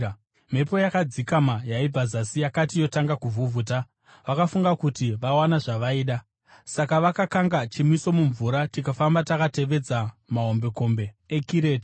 Mhepo yakadzikama yaibva zasi yakati yotanga kuvhuvhuta, vakafunga kuti vawana zvavaida; saka vakakanga chimiso mumvura tikafamba takatevedza mahombekombe eKirete.